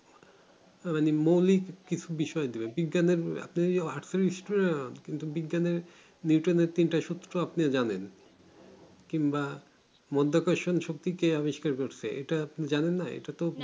মৌলিক কিছু বিষয় দেব বিজ্ঞান এর আপনি যদি আটত্রিশ টা বিজ্ঞান এর নিওটননের তিন তে সূত্র আপনিও জানেন কিংবা মধ্যো কোর্সন শক্তি কে অবিকার করছে ইটা জানান না এটা তো